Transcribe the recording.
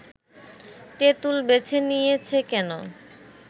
তেঁতুল বেছে নিয়েছে কেন